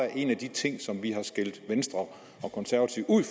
er en af de ting som vi har skældt venstre og konservative ud